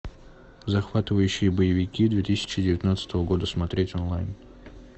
захватывающие боевики две тысячи девятнадцатого года смотреть онлайн